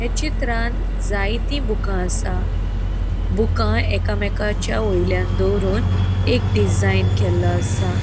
या चित्रान जाएति बूका आसा बूका एकामेकाच्या वयल्यान दवरूँन एक डिजाइन केल्लो आसा.